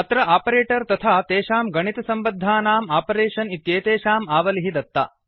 अत्र आपरेटर् तथा तेषां गणितसम्बद्धनाम् आपरेषन् इत्येतेषाम् आवलिः दत्ता